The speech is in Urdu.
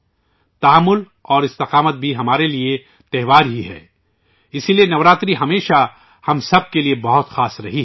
تحمل اور استقامت بھی ہمارے لئے ایک تہوار ہے، اس لئے نوراترے ہمیشہ ہم سب کے لئے بہت خاص رہے ہیں